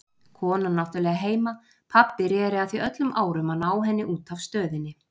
Konan náttúrlega heima, pabbi reri að því öllum árum að ná henni út af Stöðinni.